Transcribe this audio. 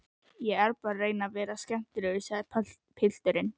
Ég er bara að reyna að vera skemmtilegur, sagði pilturinn.